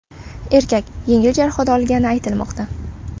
Erkak yengil jarohat olgani aytilmoqda.